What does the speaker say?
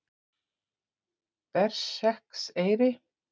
Berserkseyri